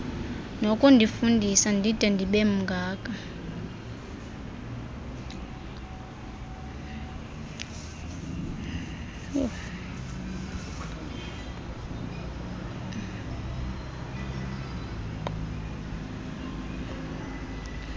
nokundifundisa ndide ndibemngaka